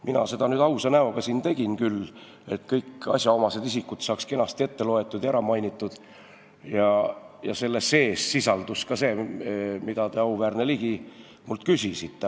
Mina seda ausa näoga siin tegin küll, et kõik asjaomased isikud saaksid kenasti ette loetud ja ära mainitud, ning seal sisaldus ka see, mille kohta te, auväärne Ligi, mult küsisite.